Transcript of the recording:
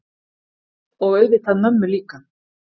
Og auðvitað mömmu líka.